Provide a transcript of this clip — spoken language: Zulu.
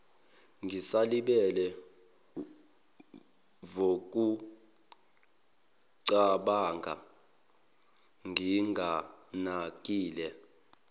ngisalibele wukucabanga nginganakile